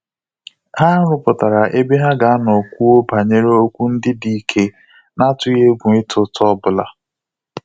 Ha rụpụtara ebe ha ga anọ kwuo banyere okwu ndị dị ike na atughi egwu ịta uta obula